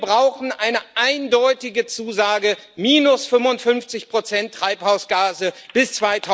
Wir brauchen eine eindeutige Zusage minus 55 Treibhausgase bis